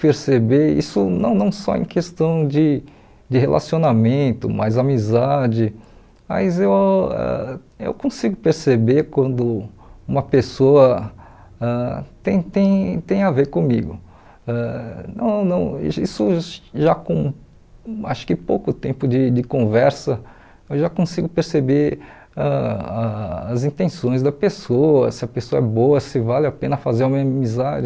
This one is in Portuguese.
perceber isso não não só em questão de de relacionamento mas amizade mas eu eu consigo perceber quando uma pessoa ãh tem tem tem a ver comigo ãh não não isso já com acho que pouco tempo de de conversa eu já consigo perceber ãh as intenções da pessoa se a pessoa é boa se vale a pena fazer uma amizade